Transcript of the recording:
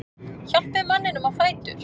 Hjálpið manninum á fætur.